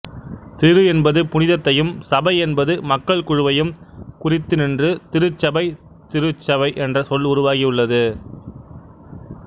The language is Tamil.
திரு என்பது புனிதத்தையும் சபை என்பது மக்கள் குழுவையும் குறித்து நின்று திருசபைதிருச்சபை என்ற சொல் உருவாகி உள்ளது